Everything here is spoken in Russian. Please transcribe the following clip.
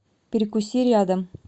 перекуси рядом